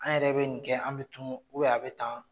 An yɛrɛ bɛ nin kɛ an bɛ tunun a bɛ tan